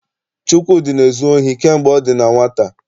Chukwudi na-ezu ohi kamgbe ọ dị na nwata.